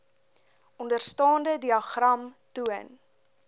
onderstaande diagram toon